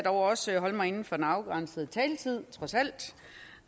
også holde mig inden for den afgrænsede taletid